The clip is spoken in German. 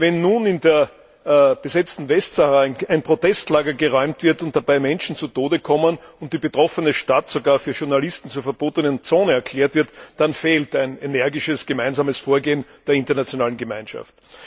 Wenn nun in der besetzten Westsahara ein Protestlager geräumt wird und dabei Menschen zu Tode kommen und die betroffene Stadt sogar für Journalisten zur verbotenen Zone erklärt wird, dann fehlt ein energisches gemeinsames Vorgehen der internationalen Gemeinschaft.